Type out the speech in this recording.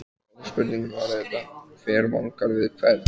Stóra spurningin var auðvitað: Hver vangar við hvern?